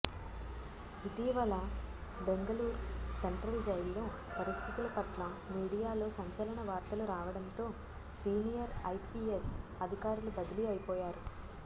ఇటీ వల బెంగళూరు సెంట్రల్ జైల్లో పరిస్థితులపట్ల మీడియాలో సంచలన వార్తలు రావడంతో సీనియర్ ఐపిఎస్ అధికారులు బదిలీ అయిపోయారు